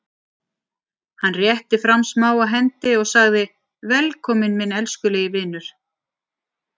Hann rétti fram smáa hendi og sagði:-Velkominn minn elskulegi vinur.